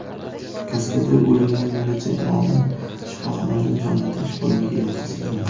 kaskadyor o‘limidan bir necha kun oldin shifoxonaning jonlantirish bo‘limiga yotqizilgan.